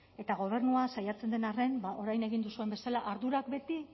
eta gobernua saiatzen den arren orain egin duzuen bezala ardurak beti